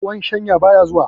Ruwan shayan baya zuwa.